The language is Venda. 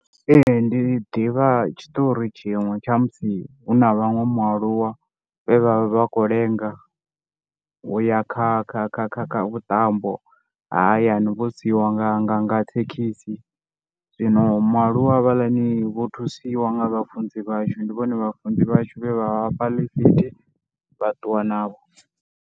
Ee ndi ḓivha tshitori tshiṅwe tsha musi hu na vhaṅwe mualuwa, vhe vha vha kho lenga uya kha vhuṱambo ha hayani vho siiwa nga thekhisi. Zwino mualuwa havhaḽani vho thusiwa nga vhafunzi vhashu ndi vhone vhe vha vhafha ḽifithi vha ṱuwa navho.